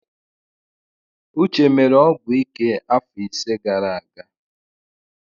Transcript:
Uche mere ọgwụ ike afọ ise gara aga.